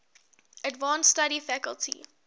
advanced study faculty